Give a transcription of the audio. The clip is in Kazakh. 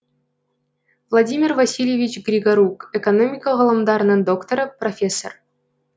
владимир васильевич григорук экономика ғылымдарының докторы профессор